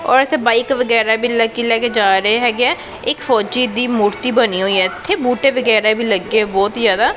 ਔਰ ਇੱਥੇ ਬਾਈਕ ਵਗੈਰਾ ਵੀ ਲੱਕੀ ਲੈ ਕੇ ਜਾ ਰਹੇ ਹੈਗੇ ਐ ਇੱਕ ਫੌਜੀ ਦੀ ਮੂਰਤੀ ਬਣੀ ਹੋਈ ਐ ਇੱਥੇ ਬੂਟੇ ਵਗੈਰਾ ਵੀ ਲੱਗੇ ਬਹੁਤ ਹੀ ਜਿਆਦਾ।